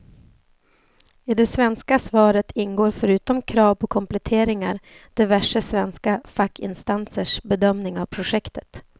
I det svenska svaret ingår förutom krav på kompletteringar diverse svenska fackinstansers bedömning av projektet.